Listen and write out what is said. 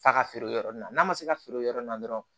F'a ka feere yɔrɔ nin na n'a ma se ka feere o yɔrɔ nin na dɔrɔn